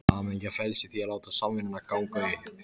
Hamingjan felst í því að láta samvinnuna ganga upp.